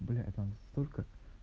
блять там столько